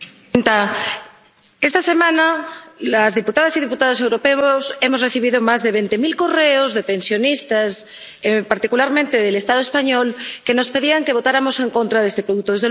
Señora presidenta, esta semana, las diputadas y diputados europeos hemos recibido más de veinte mil correos de pensionistas —particularmente del Estado español— que nos pedían que votáramos en contra de este producto.